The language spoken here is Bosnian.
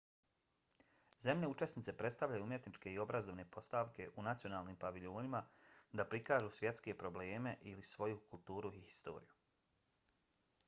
zemlje učesnice predstavljaju umjetničke i obrazovne postavke u nacionalnim paviljonima da prikažu svjetske probleme ili svoju kulturu i historiju